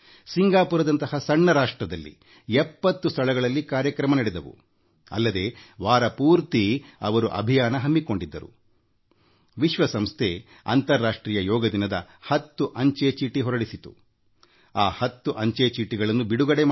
ಸಿಂಗಾಪೂರದಂತಹ ಸಣ್ಣ ರಾಷ್ಟ್ರದಲ್ಲಿಯೂ ವಾರವಿಡಿಯ ಅಭಿಯಾನದೊಂದಿಗೆ 70 ಸ್ಥಳಗಳಲ್ಲಿ ಯೋಗ ಕಾರ್ಯಕ್ರಮಗಳು ನಡೆದವು ಅಂತಾರಾಷ್ಟ್ರೀಯ ಯೋಗ ದಿನದ ಸಂದರ್ಭದಲ್ಲಿ ವಿಶ್ವಸಂಸ್ಥೆ ಹತ್ತು ಅಂಚೆ ಚೀಟಿಗಳನ್ನು ಹೊರತಂದಿದೆ